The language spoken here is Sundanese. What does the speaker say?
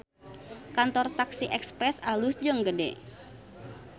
Kantor taksi Express alus jeung gede